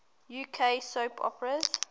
uk soap operas